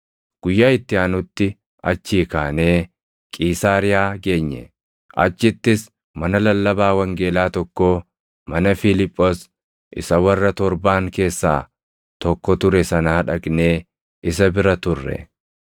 Guyyaa itti aanutti achii kaanee Qiisaariyaa geenye; achittis mana lallabaa wangeelaa tokkoo mana Fiiliphoos isa warra torbaan keessaa tokko ture sanaa dhaqnee isa bira turre.